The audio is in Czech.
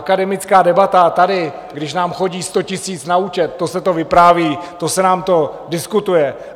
Akademická debata tady, když nám chodí 100 000 na účet, to se to vypráví, to se nám to diskutuje.